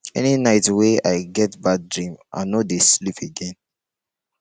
any night wey i get bad dream i no dey sleep again